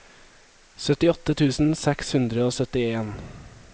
syttiåtte tusen seks hundre og syttien